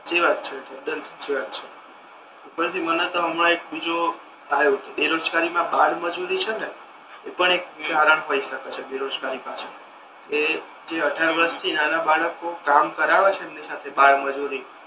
સાચી વાત તદ્દન સાચી વાત છે ઉપર થી માને તો હમણા એક બીજુ આવ્યો બેરોજગારી મા બાળમજૂરી છે ને એ પણ એક કારણ હોય શકે છે બેરોજગારી ની પાછળ કે જે અઢાર વર્ષ થી નાના બાળકો કે જે કામ કરાવે છે બાળમજૂરી